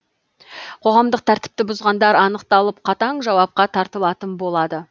қоғамдық тәртіпті бұзғандар анықталып қатаң жауапқа тартылатын болады